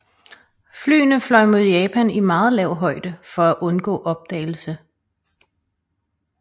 Flyene fløj mod Japan i meget lav højde for at undgå opdagelse